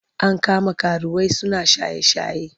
An kama karuwai suna shaye-shaye.